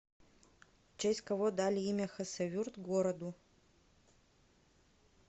в честь кого дали имя хасавюрт городу